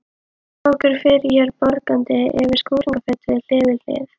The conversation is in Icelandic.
Sá okkur fyrir mér bograndi yfir skúringafötu, hlið við hlið.